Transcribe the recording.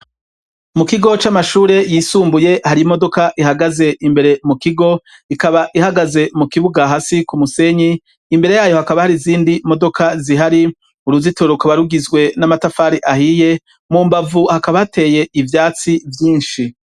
mukigo c'amashure yisumbuye har'imodoka ihagaze imbere mukigo ikaba ihagaze mukibuga hasi k'umusenyi imbere yayo hakaba har'izindi modoka zihari. Uruzitiro rukaba rugizwe n'amatafari ahiye mumbavu hakaba hateye ivyatsi vyinshi.